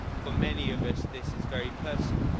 For many of us this is very personal.